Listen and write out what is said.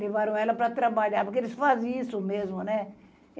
Levaram ela para trabalhar, porque eles fazem isso mesmo, né?